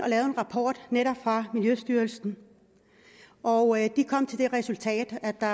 lavede en rapport netop for miljøstyrelsen og de kom til det resultat at der